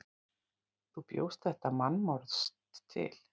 Þú bjóst þetta mannsmorð til.